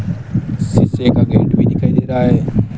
शीशे का गेट भी दिखाई दे रहा है।